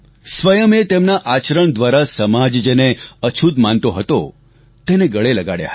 સ્વયં તેમના આચરણ દ્વારા સમાજ જેને અછૂત માનતો હતો તેમને ગળે લગાડ્યા હતા